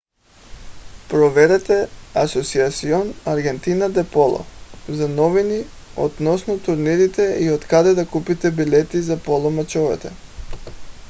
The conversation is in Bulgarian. проверете asociacion argentina de polo за новини относно турнирите и откъде да купите билети за поло мачовете